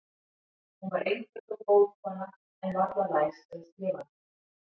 Hún var einföld og góð kona, en varla læs eða skrifandi.